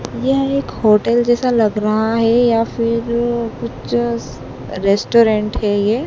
यह एक होटल जैसा लग रहा है या फिर पिक्चर्स रेस्टोरेंट है ये।